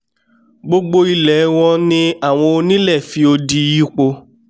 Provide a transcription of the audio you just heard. gbogbo ilẹ̀ẹ wọ́n ni àwọn onílẹ̀ fi odi yípo